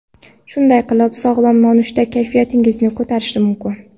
Shunday qilib, sog‘lom nonushta kayfiyatingizni ko‘tarishi mumkin.